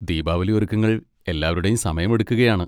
ദീപാവലി ഒരുക്കങ്ങൾ എല്ലാവരുടെയും സമയമെടുക്കുകയാണ്.